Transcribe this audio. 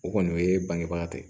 O kɔni o ye bangebaga tɛ